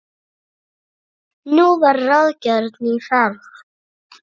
Nú var ráðgerð ný ferð.